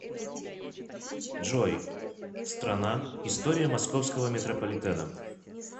джой страна история московского метрополитена